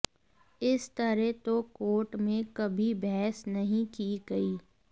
इस तरह तो कोर्ट में कभी बहस नहीं की गई